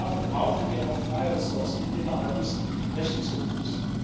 und dafür brauchen wir auch freie Resourcen innerhalb des Rechnungshofes.